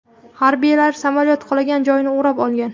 Harbiylar samolyot qulagan joyni o‘rab olgan.